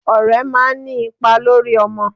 Ọ̀rẹ́ máa ń ní ipa lórí ọmọ.